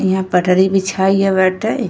यहाँ पटरी बिछा गई बाटे।